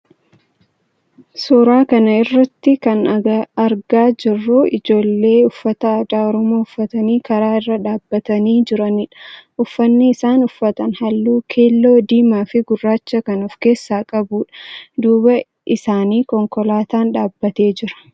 Suuraa kana irratti kan agarru ijoollee uffata aadaa oromoo uffatanii karaa irra dhaabbatanii jiranidha. Uffanni isaan uffatan halluu keelloo, diimaa fi gurraacha kan of keessaa qabudha. Duuba isaanii konkolaatan dhaabbatee jira.